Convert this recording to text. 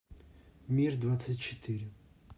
мир двадцать четыре